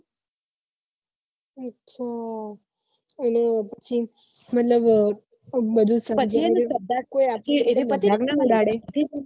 અચ્છા અને પછી મતલબ